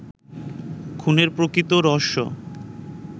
খুনের প্রকৃত রহস্য